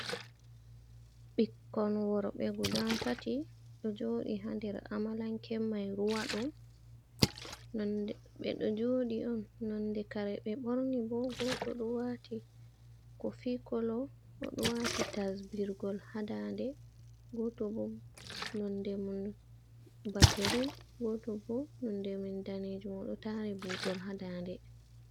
Ɓikkon worɓe guda tati, ɓe ɗo jooɗi haa nder amalanke may ruwa ɗo. Ɓe ɗo jooɗi on, nonde kare ɓe ɓorni bo, gooto ɗo waati kofi kolo o ɗo waati tasbirgol haa daande, gooto bo nonde mum ba girin, gooto bo nonde man daneejum ,o ɗo taari buutol haa daande.